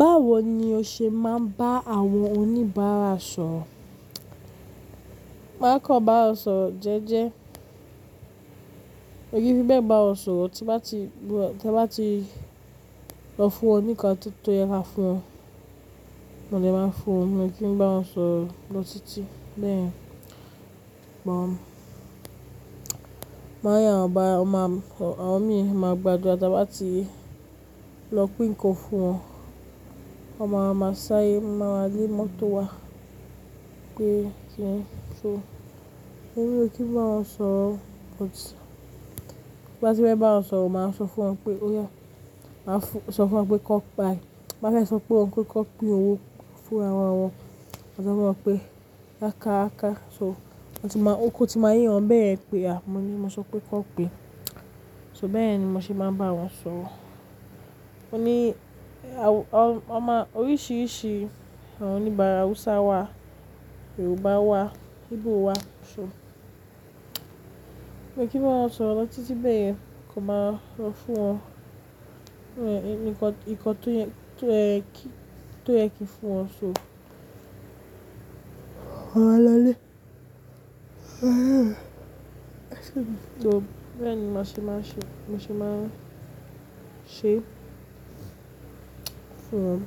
Báwo ni o ṣe máa ń bá àwọn oníbàárà sọ̀rọ̀? Má kọ́ bá wọn sọ̀rọ̀ jẹ́jẹ́. Ó yẹ kí ẹ bá wọn sọ̀rọ̀ tí ẹ bá ti lọ fún wọn ní nǹkan tí tó yẹ kí ẹ fún wọn. Mo lè máa fún wọn ni kí n bá wọn sọ̀rọ̀ lọ títí bẹ́ẹ̀. Ṣùgbọ́n máa yá àwọn mi máa gbàdúrà tí bá ti lọ pín nnkan fún wọn. Wọn máa máa sáre, máa le mọ́tó wà pé tí ń ṣo. Òyẹ kí n bá wọn sọ̀rọ̀, but bá ti bẹ́ bá wọn sọ̀rọ̀, màá sọ fún wọn pé ó yẹ. Màá sọ fún wọn pé kó paẹ́. Bá máa sọ fún wọn pé kó pín owó fún àwọn ọmọ. Màá sọ fún wọn pé yá ká ká. So, ọtí máa, oko tí máa yé wọn bẹ́ẹ̀ pẹ́ a. Mo ní mo sọ pé kó pe. So bẹ́ẹ̀ yen ni mo ṣe máa ń bá wọn sọ̀rọ̀. O ní, ama oríṣiríṣi àwọn oníbàárà Hausa wà, Yorùbá wà, Igbo wà. So, mo kí n bá wọn sọ̀rọ̀ lọ títí bẹ́ẹ̀ yen kí wọ́n máa lọ fún wọn. Ẹnikọ̀ọ̀, ìkọ̀ tó yẹ kí n fún wọn. So, màá maa lọlé. So, bẹ́ẹ̀ ni mo ṣe máa ń ṣe, mo ṣe máa ń ṣe fún wọn.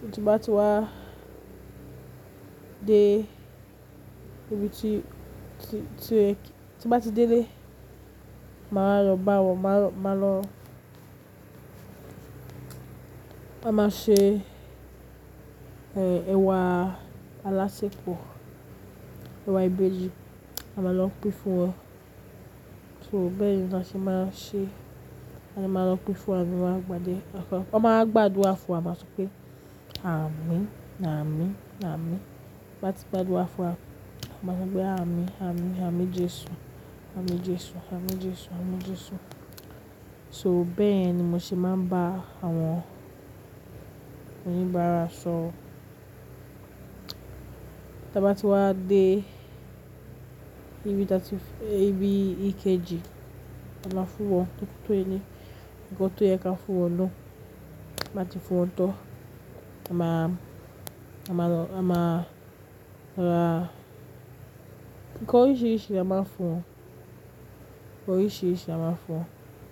Tí wọ́n bá ti wá dé ibi tí, tí wọ́n bá ti délé, màá wa lọ bá wọn, màá lọ, a máa ṣe, ẹ, ẹwà alásẹ̀pọ̀, ẹwà ìbejì. A máa lọ pín fún wọn. So bẹ́ẹ̀ ni mo ṣe máa ń ṣe. A máa lọ pín fún wọn, a máa gbadé. Wọ́n máa ń gbàdúrà fún wa, wọ́n máa sọ pé àmín, àmín, àmín. Bá ti gbàdúrà fún wa, wọ́n máa sọ pé àmín, àmín, àmín Jésù, àmín Jésù, àmín Jésù, àmín Jésù. So bẹ́ẹ̀ ni mo ṣe máa ń bá àwọn oníbàárà sọ̀rọ̀. Ti wọ́n bá ti wá dé ibi tí, ibi ìkejì, a máa fún wọn ní tótó ẹni. Nkan tó yẹ kí a fún wọn ló. Ti a ba ti fún wọn tán, a máa, a máa lọ, a máa ra nǹkan oríṣiríṣi la máa fún wọn. Oríṣiríṣi a máa fún wọn.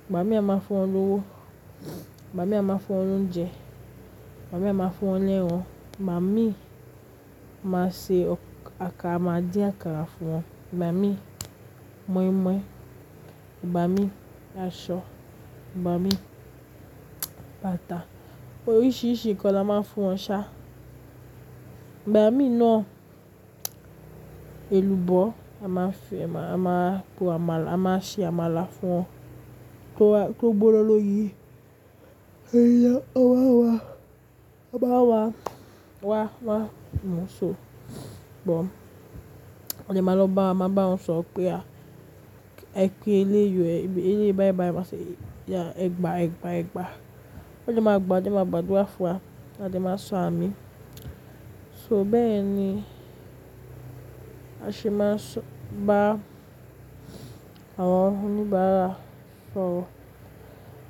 Ìgbà míì a máa fún wọn ní owó. Ìgbà míì a máa fún wọn ní oúnjẹ. Ìgbà míì a máa fún wọn ni eran Ìgbà míì máa ṣe àkàrà, máa dín àkàrà fún wọn. Ìgbà míì, moin-moin. Ìgbà míì, aṣọ. Ìgbà míì, bàtà. Oríṣiríṣi nǹkan la máa ń fún wọn ṣá. Ìgbà míì náà, èlùbọ́, a máa fi, a máa po àmàlà, a máa ṣe àmàlà fún wọn. Kí ó wá, kí ó gbona lọ lọ yi. Òyẹ, ọ wá wá, ọ bá wá wá wá. So, bọ̀. Mo lè máa lọ bá wọn, máa bá wọn sọ̀rọ̀ pé a kí ẹ lé yọ ẹbí ẹ lé bá ẹ bá ẹ máa ṣe ẹgbà ẹgbà ẹgbà. Wọ́n lè máa gbà, lè máa gbàdúrà fún wa. A lè máa sọ àmín. So bẹ́ẹ̀ ni a ṣe máa ń sọ bá àwọn oníbàárà sọ̀rọ̀.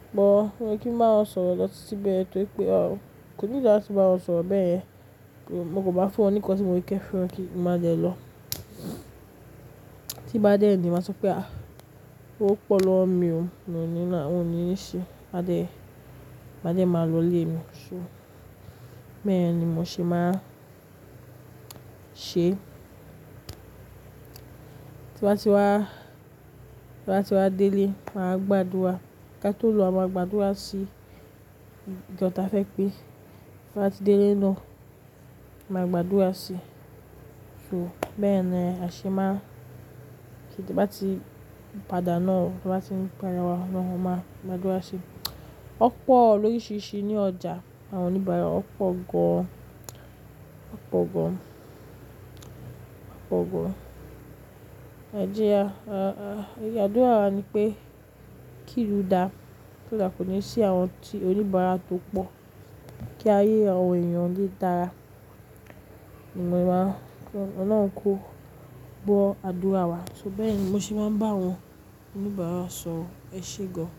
Ṣùgbọ́n òyẹ kí n bá wọn sọ̀rọ̀ lọ títí bẹ́ẹ̀ tó pé kò ní ìlànà tí n bá wọn sọ̀rọ̀ bẹ́ẹ̀ yẹn, mo kò bá fún wọn ní nǹkan tí mo yẹ kí fún wọn kí n má jẹ lọ. Tí bá dé ẹni, màá sọ pé a, ówo pọ̀ lọ́wo mi o ni oun ní i ṣe. Màá de, màá dẹ́ máa lọ lé mi. So, bẹ́ẹ̀ yen ni mo ṣe máa ń ṣe. Tí n bá ti wá, tí n bá ti wá délé, màá gbàdúrà. Kátó lọ màá gbàdúrà sí ìjọ táa fẹ́ pé tí wọ́n bá ti délé iná, màá gbàdúrà sí i. So bẹ́ẹ̀ yen ni a ṣe máa ń ṣe tí bá ti padà náà, tí wọ́n bá ti ń bẹ̀rẹ̀ wa lọ́hùn-máa, màá gbàdúrà sí i. Ọ̀ pọ̀ oríṣiríṣi ní ọjà àwọn oníbàárà. Ọ̀ pọ̀ gan. Ọ̀ pọ̀ gan. Ọ̀ pọ̀ gan. Ẹ̀jẹ̀ a, a, ìbi adùra wa ni pé kí ìlú dà, tó dà kò ní sí àwọn ti oníbàárà tó pọ̀. Kí ayé àwọn ènìyàn lé dára. Ìmọ̀ ẹ̀ máa, ọ náà kó gbọ́ àdúrà wa. So bẹ́ẹ̀ ni mo ṣe máa ń bá àwọn oníbàárà sọ̀rọ̀. Ẹ ṣé gan.